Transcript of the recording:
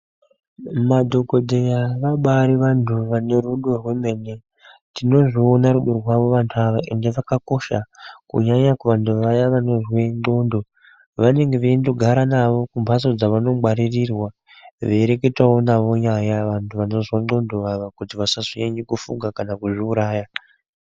Madhokodheya vabaari vanthu vane rudo rwemene tinozviona vanthu ava rudo rwavo ende vakakosha kunyanya kuvanthu vaya vanozwe ndxondo vanonga veindogara navo kumphatso dzevanongwaririrwa veireketa navo nyaya vanthu vanozwa ndxondo vaya kuti vasazonyanya kufunga kana kuzviuraya.